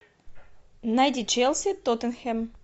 найди челси тоттенхэм